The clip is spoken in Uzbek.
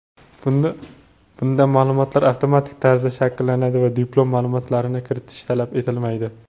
Bunda ma’lumotlar avtomatik tarzda shakllanadi va diplom ma’lumotlarini kiritish talab etilmaydi.